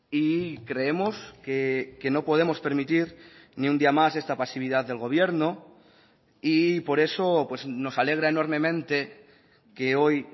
y creemos que no podemos permitir ni un día más esta pasividad del gobierno y por eso nos alegra enormemente que hoy